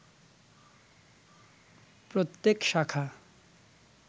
প্রত্যেক শাখা